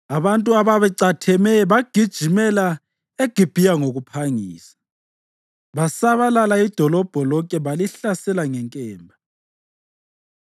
Abantu ababecatheme bagijimela eGibhiya ngokuphangisa, basabalala idolobho lonke balihlasela ngenkemba.